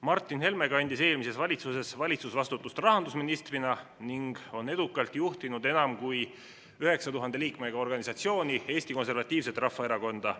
Martin Helme kandis eelmises valitsuses valitsusvastutust rahandusministrina ning on edukalt juhtinud enam kui 9000 liikmega organisatsiooni – Eesti Konservatiivset Rahvaerakonda.